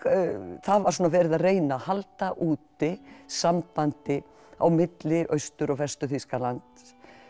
það var svona verið að reyna að halda úti sambandi á milli Austur og Vestur Þýskalands